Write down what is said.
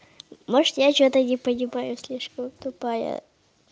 может я что-то не понимаю слишком тупая